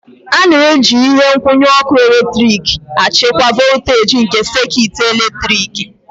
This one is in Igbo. A na-eji ihe nkwụnye ọkụ eletrik na-achịkwa voltaji nke sekit eletriki.